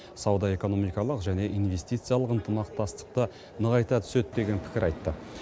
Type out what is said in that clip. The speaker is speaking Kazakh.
сауда экономикалық және инвестициялық ынтымақтастықты нығайта түседі деген пікір айтты